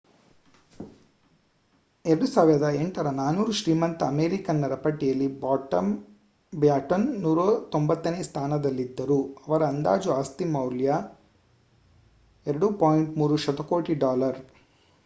2008ರ 400 ಶ್ರೀಮಂತ ಅಮೆರಿಕನ್ನರ ಪಟ್ಟಿಯಲ್ಲಿ ಬ್ಯಾಟನ್ 190 ನೇ ಸ್ಥಾನದಲ್ಲಿದ್ದರು ಇವರ ಅಂದಾಜು ಆಸ್ತಿ ಮೌಲ್ಯ $ 2.3 ಶತಕೋಟಿ